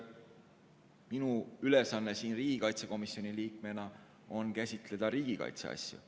Minu ülesanne riigikaitsekomisjoni liikmena on käsitleda ikkagi riigikaitse teemasid.